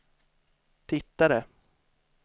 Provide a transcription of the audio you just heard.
tittade